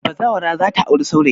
Bazawara za ta auri saurayi.